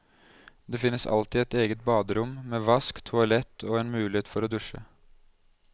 Det finnes alltid et eget baderom, med vask, toalett og en mulighet for å dusje.